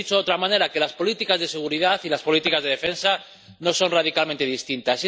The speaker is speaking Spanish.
O dicho de otra manera, que las políticas de seguridad y las políticas de defensa no son radicalmente distintas.